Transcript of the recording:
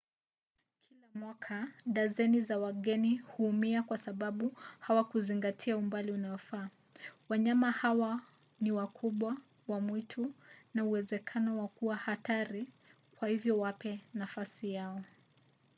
kila mwaka dazeni za wageni huumia kwa sababu hawakuzingatia umbali unaofaa. wanyama hawa ni wakubwa wa mwitu na uwezekano wa kuwa hatari kwa hivyo wape nafasi yao